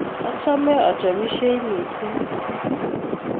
achome achopishei mising